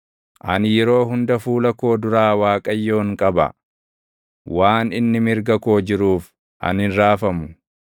Ani yeroo hunda fuula koo duraa Waaqayyoon qaba. Waan inni mirga koo jiruuf ani hin raafamu.